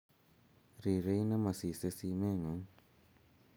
Rirei ne masisei simeng'ung'